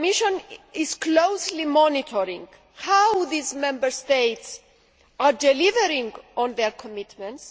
The Commission is closely monitoring how these Member States are delivering on their commitments.